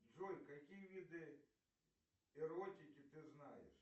джой какие виды эротики ты знаешь